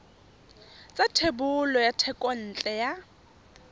sa thebolo ya thekontle ya